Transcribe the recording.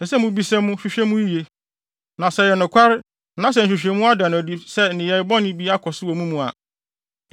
ɛsɛ sɛ mubisa mu, hwehwɛ mu yiye. Na sɛ ɛyɛ nokware na sɛ nhwehwɛmu ada no adi sɛ nneyɛe bɔne bi akɔ so wɔ mo mu a,